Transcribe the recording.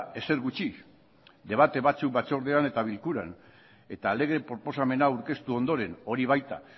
ezer gutxi debate batzuk batzordean eta bilkuran eta lege proposamena aurkeztu ondoren hori baita